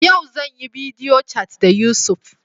Yau zan yi bidiyo cat da Yusuf.